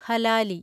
ഹലാലി